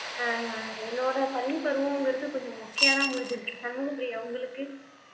ஆஹ் என்னோட பள்ளி பருவம்ங்கிறது கொஞ்சம் மொக்கையாதான் முடிஞ்சுருக்கு சண்முக பிரியா உங்களுக்கு